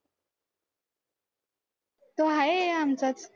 तो आहे आमचाच.